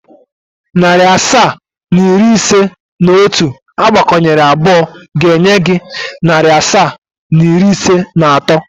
Narị asaa na iri ise na otu agbakọnyere abụọ ga-enye gị narị asaa na iri ise na atọ.